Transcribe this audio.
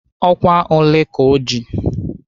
Ọkwa ole ka ọ ji?